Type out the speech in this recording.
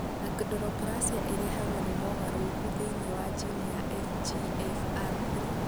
Achondroplasia ĩrehagwo nĩ mogarũrũku thĩinĩ wa jini ya FGFR3.